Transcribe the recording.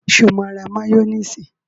Sọ ma ra máyónísì?